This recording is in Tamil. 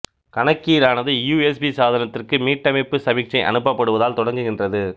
கணக்கீடானது யூ எஸ் பி சாதனத்திற்கு மீட்டமைப்பு சமிக்ஞை அனுப்பப்படுவதால் தொடங்குகின்றது